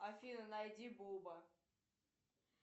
афина найди буба